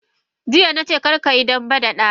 Jiya nace karkayi dambe da dana!